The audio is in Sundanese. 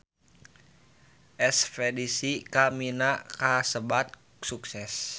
Espedisi ka Mina kasebat sukses